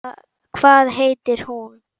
Hvað heitir hún?